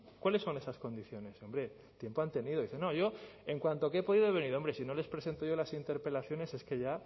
cuáles son esas condiciones hombre tiempo han tenido dice no yo en cuanto he podido he venido hombre si no les presento yo las interpelaciones es que ya